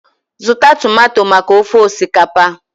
Zụta tomato maka ofe osikapa!